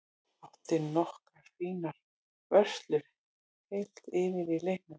Átti nokkrar fínar vörslur heilt yfir í leiknum.